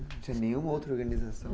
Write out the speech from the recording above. Não tinha nenhuma outra organização?